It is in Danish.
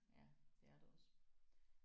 Ja det er det også